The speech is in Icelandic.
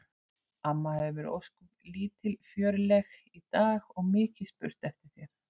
Amma hefur verið ósköp lítilfjörleg í dag og mikið spurt eftir þér